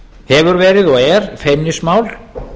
hefur verið og er feimnismál